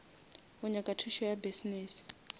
o nyaka thušo ya business